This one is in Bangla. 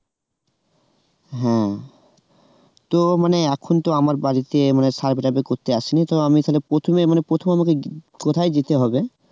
ও তো মানে এখন তো আমার বাড়িতে মানে survey টারভে করতে আসেনি তো আমি তালে প্রথমে মানে প্রথমে আমাকে কোথায় যেতে হবে?